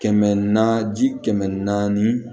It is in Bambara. Kɛmɛ naani ji kɛmɛ naani